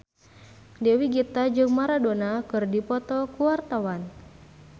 Dewi Gita jeung Maradona keur dipoto ku wartawan